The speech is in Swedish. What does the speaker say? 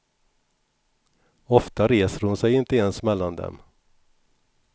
Ofta reser hon sig inte ens mellan dem.